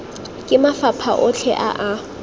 ke mafapha otlhe a a